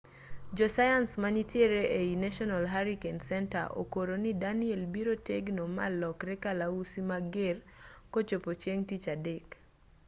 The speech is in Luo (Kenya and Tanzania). josayans manitiere ei national hurricane center okoro ni danielle biro tegno ma lokre kalausi mager kochopo ching' tich adek